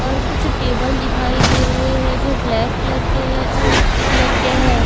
और कुछ टेबल दिखाई दे रहे हैं जो ब्लैक कलर के हैं और मिट्टी कलर के हैं।